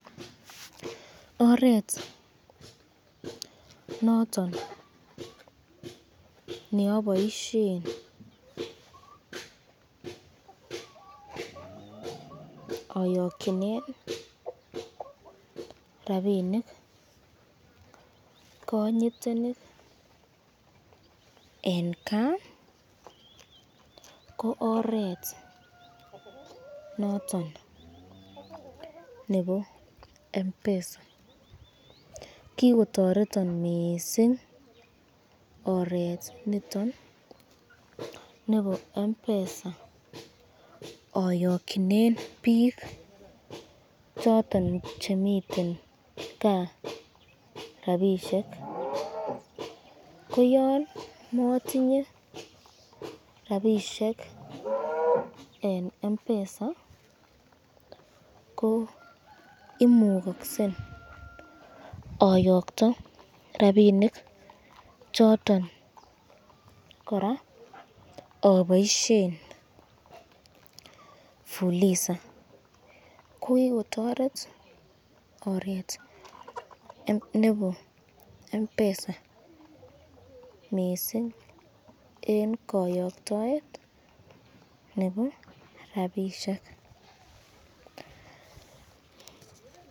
Oret noton neboisyen ayokyinen , rapinik kanyitenik eng kaa ko oret noton nebo Mpesa, kikotoretan mising oret niton nebo Mpesa ayokyinen bik choton chemiten kaa rapishek, ko yan matinye rapishek eng Mpesa ko imukaksen ayokya rapinik choton koraa aboisyen fuliza, ko kikotoret oret nebe Mpesa mising eng kayoktoet nebo rapishek.